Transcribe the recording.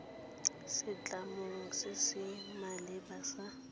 setlamong se se maleba sa